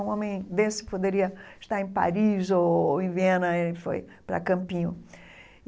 Um homem desse que poderia estar em Paris ou em Viena e foi para Campinho.